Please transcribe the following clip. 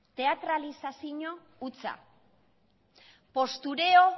teatralizazio hutsa postureo